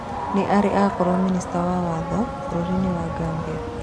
Nĩarĩ akorwo minista wa watho bũrũri-inĩ wa Gambia